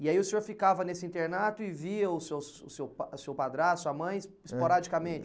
E aí o senhor ficava nesse internato e via o seu o seu pa o seu padrasto, a sua mãe, esporadicamente?